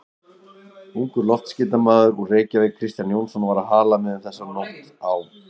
Ungur loftskeytamaður úr Reykjavík, Kristján Jónsson, var á Halamiðum þessa nótt á